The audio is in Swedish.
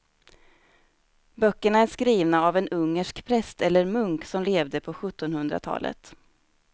Böckerna är skrivna av en ungersk präst eller munk som levde på sjuttonhundratalet.